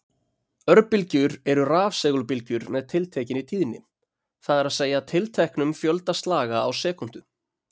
Örbylgjur eru rafsegulbylgjur með tiltekinni tíðni, það er að segja tilteknum fjölda slaga á sekúndu.